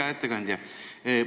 Hea ettekandja!